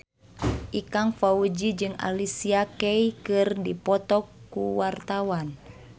Ikang Fawzi jeung Alicia Keys keur dipoto ku wartawan